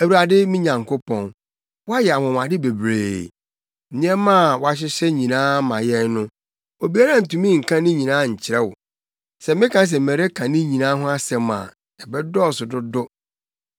Awurade me Nyankopɔn woayɛ anwonwade bebree. Nneɛma a wohyehyɛ maa yɛn no obiara ntumi nka ne nyinaa nkyerɛ wo; sɛ meka se mereka ne nyinaa ho asɛm a ɛbɛdɔɔso dodo.